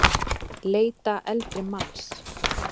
Leita eldri manns